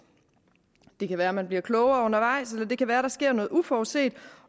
det kan være at man er bliver klogere undervejs eller det kan være at der sker noget uforudset